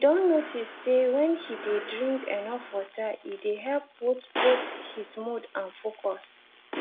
he don notice say when he dey drink enough water e dey help both both his mood and focus